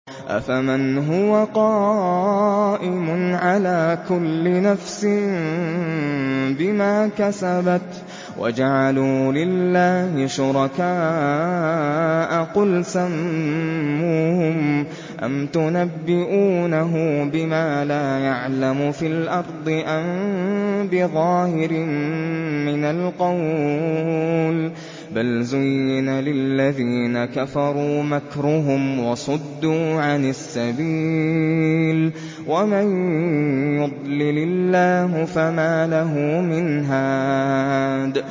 أَفَمَنْ هُوَ قَائِمٌ عَلَىٰ كُلِّ نَفْسٍ بِمَا كَسَبَتْ ۗ وَجَعَلُوا لِلَّهِ شُرَكَاءَ قُلْ سَمُّوهُمْ ۚ أَمْ تُنَبِّئُونَهُ بِمَا لَا يَعْلَمُ فِي الْأَرْضِ أَم بِظَاهِرٍ مِّنَ الْقَوْلِ ۗ بَلْ زُيِّنَ لِلَّذِينَ كَفَرُوا مَكْرُهُمْ وَصُدُّوا عَنِ السَّبِيلِ ۗ وَمَن يُضْلِلِ اللَّهُ فَمَا لَهُ مِنْ هَادٍ